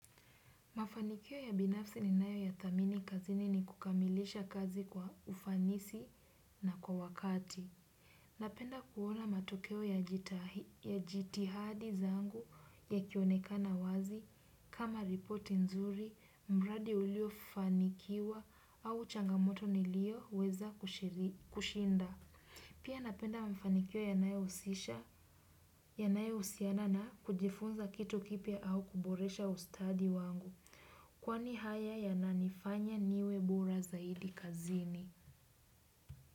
Mafanikio ya binafsi ninayoyathamini kazini ni kukamilisha kazi kwa ufanisi na kwa wakati. Napenda kuona matokeo ya jitihadi zangu yakionekana wazi kama ripoti nzuri mradi uliofanikiwa au changamoto niliyoweza kushinda. Pia napenda mafanikio yanayohusisha yanayohusiana na kujifunza kitu kipya au kuboresha ustadi wangu kwani haya yananifanya niwe bora zaidi kazini.